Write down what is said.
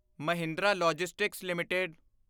Mahindra logistics LTD